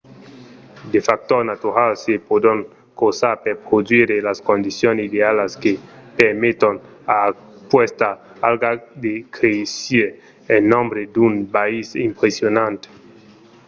de factors naturals se pòdon crosar per produire las condicions idealas que permeton a aquesta alga de créisser en nombre d'un biais impressionant